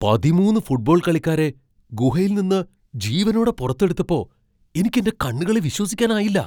പതിമൂന്ന് ഫുട്ബോൾ കളിക്കാരെ ഗുഹയിൽ നിന്ന് ജീവനോടെ പുറത്തെടുത്തപ്പോ എനിക്ക് എന്റെ കണ്ണുകളെ വിശ്വസിക്കാനായില്ല.